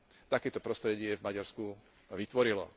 takéto prostredie v Maďarsku vytvorilo.